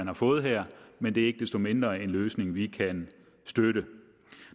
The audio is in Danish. har fået her men det er ikke desto mindre en løsning vi kan støtte